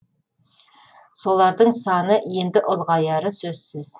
солардың саны енді ұлғаяры сөзсіз